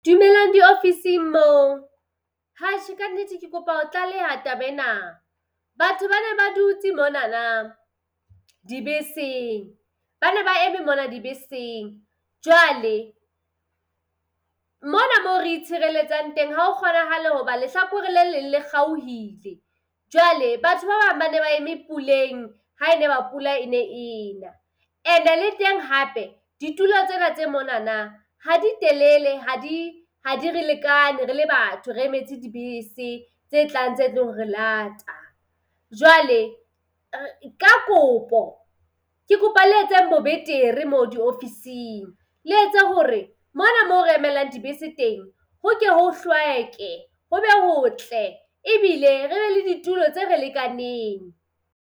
Dumelang diofising moo. Atjhe ka nnete ke kopa ho tlaleha taba ena. Batho ba ne ba dutse monanang dibeseng. Ba ne ba eme mona dibeseng. Jwale mona mo re itshireletsang teng ha ho kgonahale hoba lehlakore le leng le kgaohile jwale batho ba bang ba ne ba eme puleng ha ne ba pula e ne ena. Ene le teng hape ditulo tsena tse monanang ha di telele, ha di ha di re lekane rele batho re emetse dibese tse tlang tse tlo ho re lata. Jwale ka kopo ke kopa le etseng bo betere moo diofising. Le etse hore mona mo re emelang dibese teng ho ke ho hlweke ho be hotle ebile re be le ditulo tse re lekaneng.